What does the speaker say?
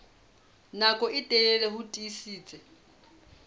nako e telele ho tiisitse